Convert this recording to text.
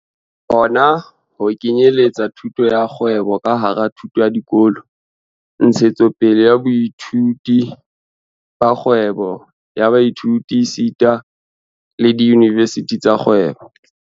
Hona ho kenyeletsa thuto ya kgwebo ka hara thuto ya dikolo, ntshetsopele ya boithuti ba kgwebo ya baithuti esita le diyunivesithi tsa kgwebo.